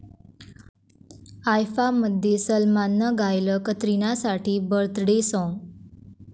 आयफा'मध्ये सलमाननं गायलं कतरिनासाठी 'बर्थडे साँग'